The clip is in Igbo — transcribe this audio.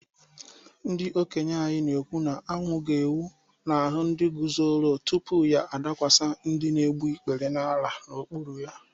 Ndị okenye anyị na-ekwu na anwụ ga-enwu n’ahụ ndị guzoro, tupu ya adakwasị ndị na-egbu ikpere n’ala n’okpuru ha.